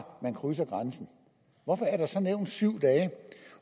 man krydser grænsen hvorfor er der så nævnt syv dage